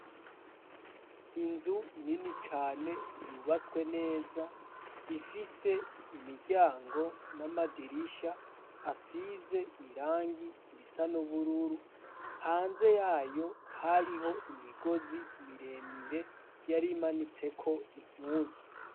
Inzu nini cane yubatswe neza ifise imiryango n'amadirisha asize irangi risa n'ubururu, hanze yayo hariho imigozi miremire yar'imanitse ko impuzu